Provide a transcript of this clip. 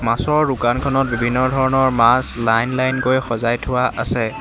মাছৰ দোকানখনত বিভিন্ন ধৰণৰ মাছ লাইন লাইন কৈ সজাই থোৱা আছে।